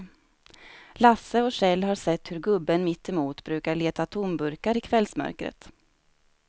Lasse och Kjell har sett hur gubben mittemot brukar leta tomburkar i kvällsmörkret.